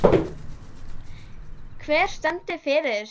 Hver stendur fyrir þessu?